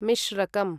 मिश्रकम्